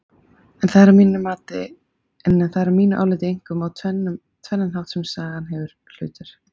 En það er að mínu áliti einkum á tvennan hátt sem saga hefur hlutverk.